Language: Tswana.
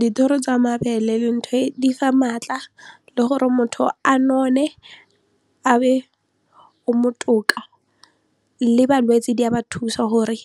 Dithoro tsa mabele di fa maatla le gore motho a none a be o botoka le balwetsi di a ba thusa gore